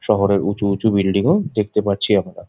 শহরের উঁচু উঁচু বিল্ডিং ও দেখতে পাচ্ছি আমরা।